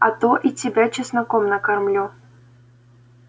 а то и тебя чесноком накормлю